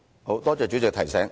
好，多謝主席提醒。